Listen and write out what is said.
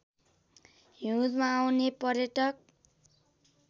हिउँदमा आउने पर्यटक